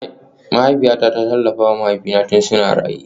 Mahaifiyata ta tallafa wa mahaifina tun suna raye